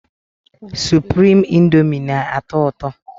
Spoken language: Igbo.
Suprime índomi na- atọ ụtọ